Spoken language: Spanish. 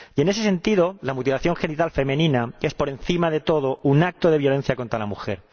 Y, en ese sentido, la mutilación genital femenina es, por encima de todo, un acto de violencia contra la mujer.